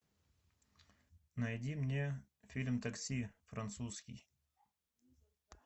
найди мне фильм такси французский